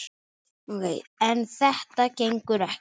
En þetta gengur ekki!